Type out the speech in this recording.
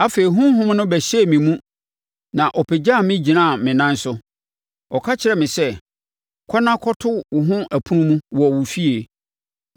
Afei, Honhom no bɛhyɛɛ me mu na ɔpagyaa me gyinaa me nan so. Ɔka kyerɛɛ me sɛ, “Kɔ na kɔto wo ho ɛpono mu wɔ wo efie.